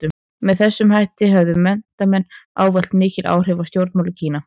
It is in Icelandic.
Með þessum hætti höfðu menntamenn ávallt mikil áhrif á stjórnmál í Kína.